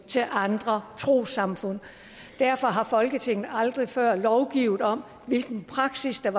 til andre trossamfund derfor har folketinget aldrig før lovgivet om hvilken praksis der